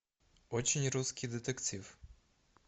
очень русский детектив